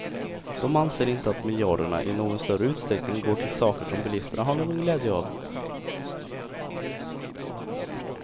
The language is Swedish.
De anser inte att miljarderna i någon större utsträckning går till saker som bilisterna har någon glädje av.